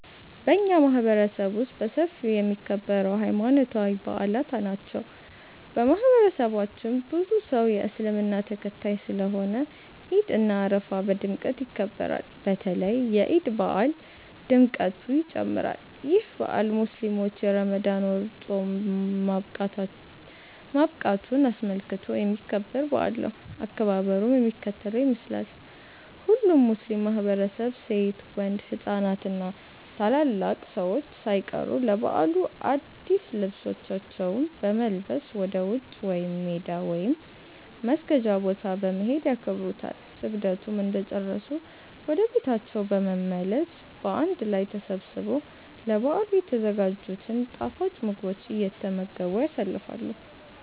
በኛ ማህበረሰብ ውስጥ በሰፊው የሚከበረው ሀይማኖታዊ በአላት ናቸው። በማህበረሰባችን ብዙ ሰው የእስልምና ተከታይ ስለሆነ ዒድ እና አረፋ በድምቀት ይከበራሉ። በተለይ የዒድ በአል ድምቀቱ ይጨምራል። ይህ በአል ሙስሊሞች የረመዳን ወር ፆም ማብቃቱን አስመልክቶ የሚከበር በአል ነው። አከባበሩም የሚከተለውን ይመስላል። ሁሉም ሙስሊም ማህበረሰብ ሴት፣ ወንድ፣ ህፃናት እና ታላላቅ ሰዎች ሳይቀሩ ለበዓሉ አድስ ልብሳቸውን በመልበስ ወደ ውጪ (ሜዳ) ወይም መስገጃ ቦታ በመሄድ ያከብሩታል። ስግደቱን እንደጨረሱ ወደ ቤታቸው በመመለስ በአንድ ላይ ተሰባስበው ለበዓሉ የተዘጋጅቱን ጣፋጭ ምግቦች እየተመገቡ ያሳልፋሉ።